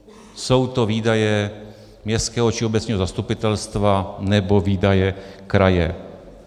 Jsou to výdaje městského či obecního zastupitelstva nebo výdaje kraje.